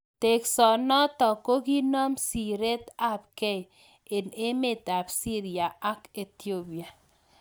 Teksoo notok kokikoon siret ap kei eng emeet ap siria ak Ethiopia